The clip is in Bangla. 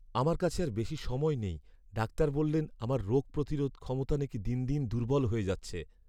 আমার কাছে আর বেশি সময় নেই। ডাক্তার বললেন আমার রোগ প্রতিরোধ ক্ষমতা না কি দিন দিন দুর্বল হয়ে যাচ্ছে।